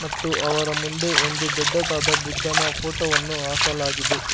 ಮತ್ತು ಅವರ ಮುಂದೆ ಒಂದು ದೊಡ್ಡದಾದ ಬುದ್ಧನ ಫೋಟೋ ವನ್ನು ಹಾಕಲಾಗಿದೆ.